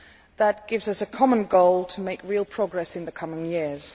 That gives us a common goal to make real progress in the coming years.